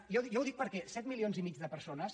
i jo ho dic perquè set milions i mig de per·sones